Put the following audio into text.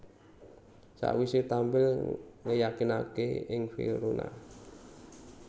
Sakwisé tampil ngeyakinaké ing Verona